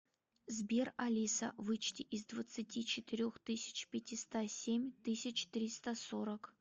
сбер алиса вычти из двадцати четырех тысяч пятиста семь тысяч триста сорок